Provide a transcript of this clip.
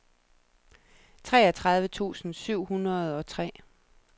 treogtredive tusind syv hundrede og tre